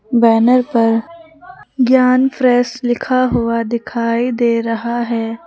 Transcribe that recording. Banner पर Gyan fresh लिखा हुआ दिखाई दे रहा है।